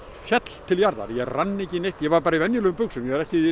féll til jarðar ég rann ekki neitt ég var bara í venjulegum buxum ég var ekki í